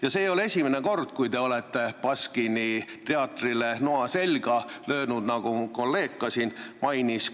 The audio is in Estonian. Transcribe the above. Ja see ei ole esimene kord, kui te olete Baskini teatrile noa selga löönud, nagu mu kolleeg ka juba mainis.